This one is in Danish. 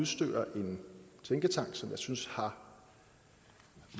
smykker en tænketank som jeg synes har